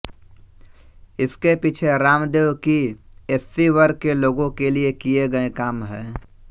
इसके पीछे रामदेव की एससी वर्ग के लोगों के लिए किए गए काम हैं